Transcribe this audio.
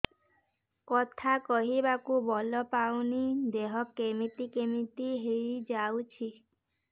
କଥା କହିବାକୁ ବଳ ପାଉନି ଦେହ କେମିତି କେମିତି ହେଇଯାଉଛି